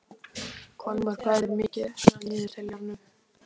Kolmar, hvað er mikið eftir af niðurteljaranum?